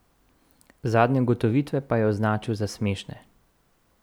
Zadnje ugotovitve pa je označil za smešne.